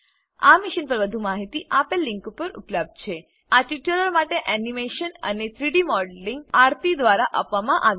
આ મીશન પર વધુ માહિતી આપેલ લીંક પર ઉપલબ્ધ છે httpspoken tutorialorgNMEICT Intro આ ટ્યુટોરીયલ માટે એનીમેશન અને 3ડી મોડલિંગ આરથી દ્વારા કરવામાં આવ્યું છે